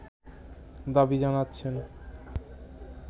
দাবি জানাচ্ছেন